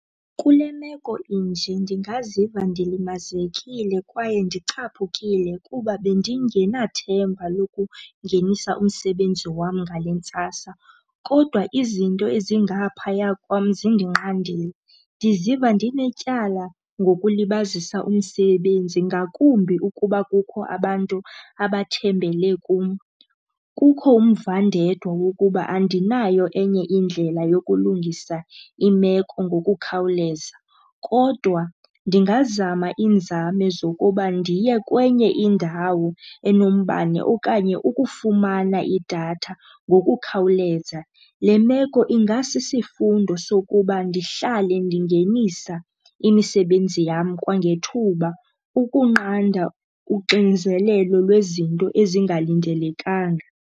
Kule meko inje ndingaziva ndilimazekile kwaye ndicaphukile kuba bendingenathemba lokungenisa umsebenzi wam ngale ntsasa. Kodwa izinto ezingaphaya kwam zindinqandile. Ndiziva ndinetyala ngokulibazisa umsebenzi ngakumbi ukuba kukho abantu abathembele kum. Kukho umvandedwa wokuba andinayo enye indlela yokulungisa imeko ngokukhawuleza kodwa ndingazama iinzame zokuba ndiye kwenye indawo enombane okanye ukufumana idatha ngokukhawuleza. Le meko ingasisifundo sokuba ndihlale ndingenisa imisebenzi yam kwangethuba ukunqanda uxinzelelo lwezinto ezingalindelekanga.